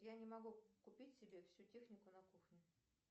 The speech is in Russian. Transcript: я не могу купить себе всю технику на кухню